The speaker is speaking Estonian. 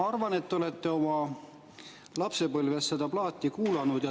Arvan, et te olete oma lapsepõlves seda plaati kuulanud.